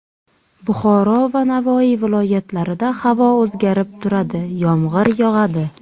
Buxoro va Navoiy viloyatlarida havo o‘zgarib turadi, yomg‘ir yog‘adi.